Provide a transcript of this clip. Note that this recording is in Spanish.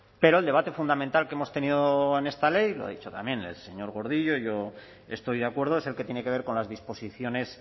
pero el debate fundamental que hemos tenido en esta ley lo ha dicho también el señor gordillo yo estoy de acuerdo es el que tiene que ver con las disposiciones